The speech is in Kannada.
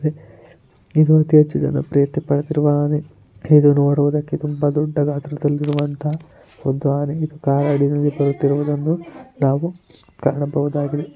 ಇದು ಅತಿ ಹೆಚ್ಚು ಜನ ಪ್ರಿಯತೆ ಪಡೆದಿರುವ ಆನೆ ಇದು ನೋಡುವುದಕ್ಕೆ ತುಂಬಾ ದೊಡ್ಡಗಾತ್ರದಲ್ಲಿ ಇರುವಂತಕ್ಕಂತಹ ಒಂದು ಆನೆ ಬರುತ್ತಿರುವುದನ್ನು ನಾವು ಕಾಣಬಹುದಾಗಿದೆ.